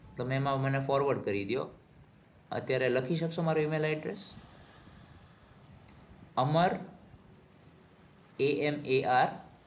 તો ma'am આવે મને forward કરી દયો. અત્યારે લખી શક્શો મારું email address? Amar a m a r